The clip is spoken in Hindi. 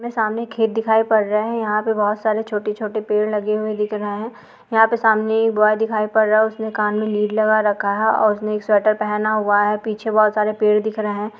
हमे सामने एक खेत दिखाई पड़ रहा है यहां पे बोहत सारी छोटे छोटे पेड़ लगे हुए दिख रहे हैं यहां पे सामने एक बॉय दिखाई पड़ रहा है उसने कान में लीड लगा रखा है ओर उसने एक स्वेटर पहना हुआ है पीछे बोहोत सारे पेड़ दिख रहे हैं।